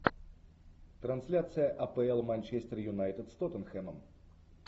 трансляция апл манчестер юнайтед с тоттенхэмом